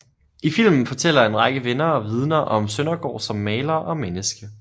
I filmen fortæller en række venner og vidner om Søndergaard som maler og menneske